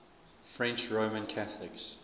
french roman catholics